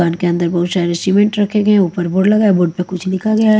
दुकान के अंदर बहुत सारे सीमेंट रखे गए हैं ऊपर बोर्ड लगा है बोर्ड पे कुछ लिखा गया है।